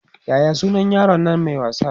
Yaya sunan yaron Nan Mai wasa?